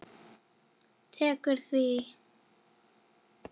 Tekur því?